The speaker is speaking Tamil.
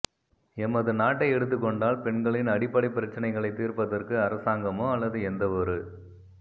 எமது நாட்டை எடுத்துக் கொண்டால் பெண்களின் அடிப்படைப் பிரச்சினைகளை தீர்ப்பதற்கு அரசாங்கமோ அல்லது எந்தவொரு